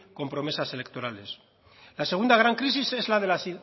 con promesas electorales la segunda gran crisis es la de la